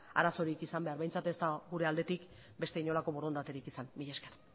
arazorik izan behar behintzat ez dago gure aldetik beste inolako borondaterik izan mila esker